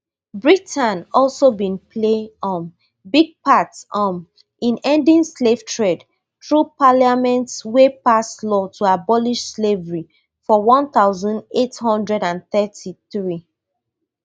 britain also bin play um big part um in ending slave trade through parliament wey pass law to abolish slavery for one thousand, eight hundred and thirty-three